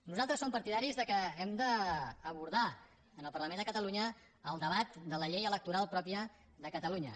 nosaltres som partidaris que hem d’abordar al parlament de catalunya el debat de la llei electoral pròpia de catalunya